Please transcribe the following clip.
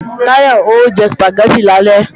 Táyọ̀ o jẹ Sùpàgẹ́tì lálẹ́